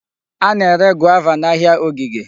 A na-ere Guava n'ahịa ogige.